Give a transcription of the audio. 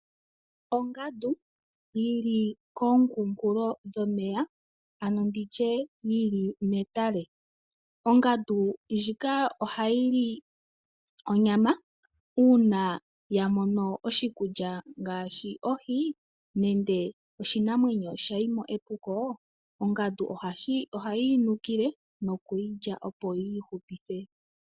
Ongandu yili komukunkulo dhomeya, ano nditye yili metale. Ongandu ndjika ohayili onyama, uuna yamono oshikulya ngaashi ohi nande oshinamwenyo shayimo epuko ongandu ohayi yinukile nokuyilya opo yiihupithe.